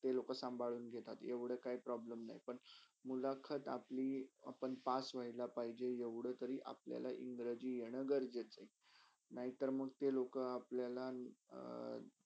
ते संभाळून घेतात एवडा problem नाही. पण मुलाखत आपल आपण pass होयला पाहेजे येवडा तरी आपल्याला इंग्रजी येना गरजेचाआहे. नाही तर ते लोक अं